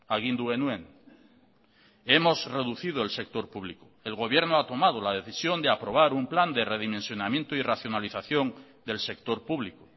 agindu genuen hemos reducido el sector público el gobierno ha tomado la decisión de aprobar un plan de redimensionamiento y racionalización del sector público